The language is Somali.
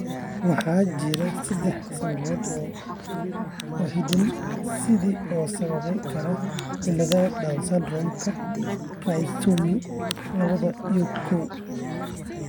Waxaa jira sedaax sababood oo hidde-side ah oo sababi kara cilladda Down syndrome-ka: Trisomy lawatan iyo koow